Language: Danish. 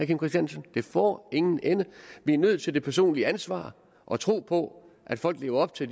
kim christiansen det får ingen ende vi er nødt til det personlige ansvar og tro på at folk lever op til